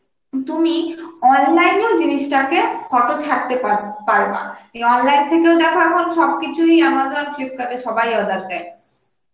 তুমি online এ ও জিনিস টাকে photo ছাড়তে পারব~ পারবা, এই অনলাইন থেকেও দেখো এখন সবকিছু Amazon, Flipkart এ সবাই অর্ডার দেয়